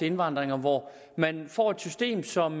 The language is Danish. indvandring og hvor man får et system som